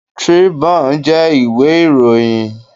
Tribune jẹ́ ìwé ìròyìn.